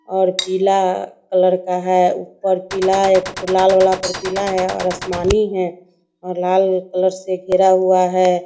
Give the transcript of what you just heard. और पीला कलर का है ऊपर पीला और एकठो लाल वाला पे पीला है और आसमानी है। और लाल कलर से घेरा हुआ है।